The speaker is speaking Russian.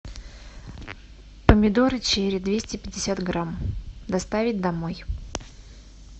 помидоры черри двести пятьдесят грамм доставить домой